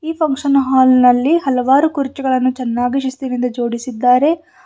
ಈ function hall ನಲ್ಲಿ ಹಲವಾರು ಕುರ್ಚಿಗಳನ್ನು ಚೆನ್ನಾಗಿ ಶಿಸ್ತಿನಿಂದ ಜೋಡಿಸಿದ್ದಾರೆ.